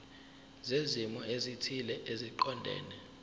zezimo ezithile eziqondene